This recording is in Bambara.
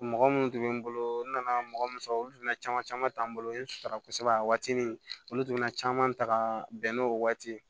Mɔgɔ minnu tun bɛ n bolo n nana mɔgɔ min sɔrɔ olu tun bɛna caman caman ta n bolo n ye n sara kosɛbɛ a waatini olu tun bɛna caman ta bɛnn'o waati ye